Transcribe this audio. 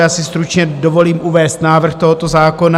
Já si stručně dovolím uvést návrh tohoto zákona.